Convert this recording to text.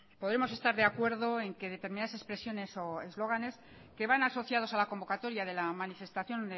podemos estar de acuerdo en que determinadas expresiones o eslóganes que van asociados a la convocatoria de la manifestación